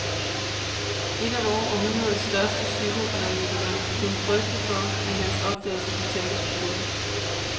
En af vort århundredes største psykoanalytikere kunne frygte for, at hans opdagelser kunne tabes på gulvet.